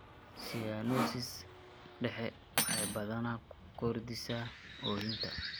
Cyanosis dhexe waxay badanaa ku kordhisaa oohinta.